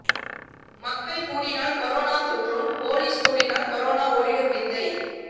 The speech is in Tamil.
மக்கள் கூடினால் கொரோனா தொற்றும் போலீஸ் கூடினால் கொரோனா ஓடிடும் விந்தை